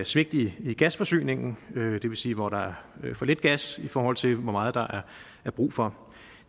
svigt i i gasforsyningen det vil sige hvor der er for lidt gas i forhold til hvor meget der er brug for